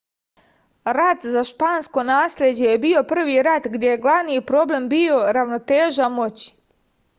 rat za špansko nasleđe je bio prvi rat gde je glavni problem bio ravnoteža moći